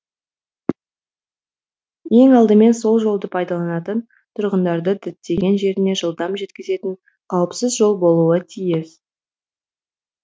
ең алдымен сол жолды пайдаланатын тұрғындарды діттеген жеріне жылдам жеткізетін қауіпсіз жол болуы тиіс